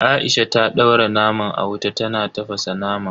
Aisha ta daura naman a wuta tana tafasa naman.